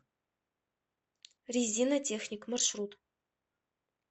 резинотехник маршрут